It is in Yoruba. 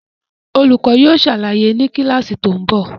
Olùkọ́ yóò ṣàlàyé ni kíláàsì tó ń bọ̀